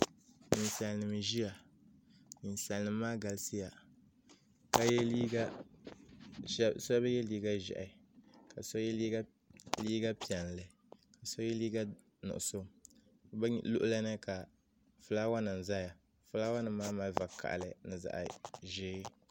Ninsalinima n ʒia ninsalinima maa galisiya sheba ye liiga ʒehi ka so ye liiga piɛlli ka so liiga nuɣuso bɛ luɣuli ni ka filaawa nima zaya filaawa nima maa mali vakahali ni zaɣa ʒee.